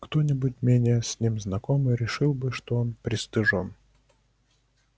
кто-нибудь менее с ним знакомый решил бы что он пристыжён